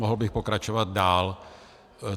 Mohl bych pokračovat dál.